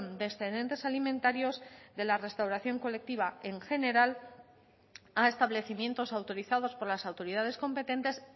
de excedentes alimentarios de la restauración colectiva en general a establecimientos autorizados por las autoridades competentes